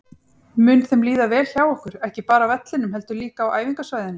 Mun þeim líða vel hjá okkur, ekki bara á vellinum heldur líka á æfingasvæðinu?